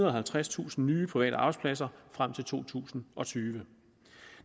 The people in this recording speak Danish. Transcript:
og halvtredstusind nye private arbejdspladser frem til to tusind og tyve